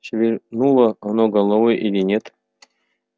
шевельнуло оно головой или нет